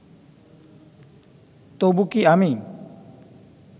তবু কি আমি